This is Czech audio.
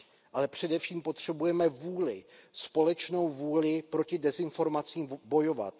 Ale především potřebujeme vůli, společnou vůli proti dezinformacím bojovat.